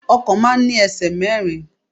Ọkọ̀ máa ń ní ẹsẹ̀ mẹ́rin.